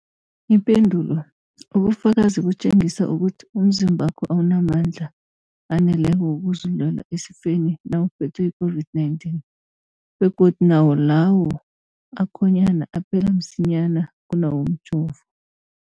Ipendulo, ubufakazi butjengisa ukuthi umzimbakho awunamandla aneleko wokuzilwela esifeni nawuphethwe yi-COVID-19, begodu nawo lawo akhonyana aphela msinyana kunawomjovo.